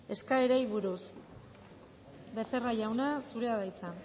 eskaerei buruz becerra jauna zurea da hitza